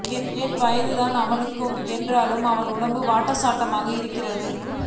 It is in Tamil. என் வயதுதான் அவனுக்கு என்றாலும் அவன் உடம்பு வாட்டசாட்டமாக இருக்கும்